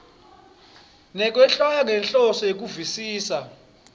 nekwehlwaya ngenhloso yekuvisisa